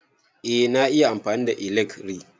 Eh na iya amfani da ilekri.